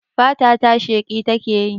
Fata ta sheƙi takeyi